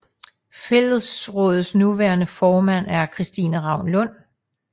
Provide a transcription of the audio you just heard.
Fællesrådets nuværende formand er Christine Ravn Lund